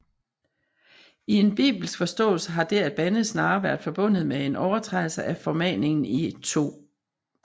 I en bibelsk forståelse har det at bande snarere være forbundet med en overtrædelse af formaningen i 2